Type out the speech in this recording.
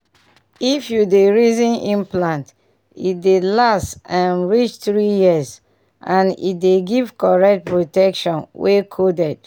if you dey reason implant e dey last um reach three years — and e dey give correct protection wey coded.